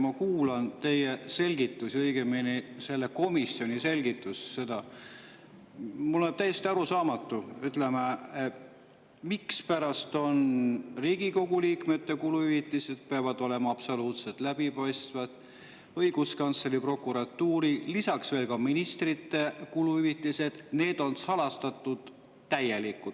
Ma kuulan teie selgitusi, õigemini selle komisjoni selgitust, ja mulle on täiesti arusaamatu, miks Riigikogu liikmete kuluhüvitised peavad olema absoluutselt läbipaistvad, aga õiguskantsleri, prokuratuuri ja ministrite kuluhüvitised on täielikult salastatud.